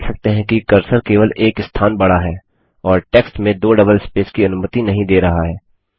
आप देख सकते हैं कि कर्सर केवल एक स्थान बढ़ा है और टेक्स्ट में दो डबल स्पेस की अनुमति नहीं दे रहा है